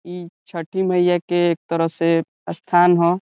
इ छठी मइया के एक तरह से स्थान ह।